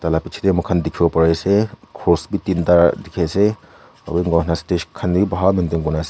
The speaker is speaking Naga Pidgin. taila pichetey muihan dikhiwo pariase cross wi tinta dikhiase aro enahuina stage khan wi bhal wa maintain kurina ase.